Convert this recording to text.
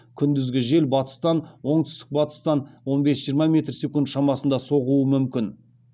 күндізгі жел батыстан оңтүстік батыстан он бес жиырма метр секунд шамасында соғуы мүмкін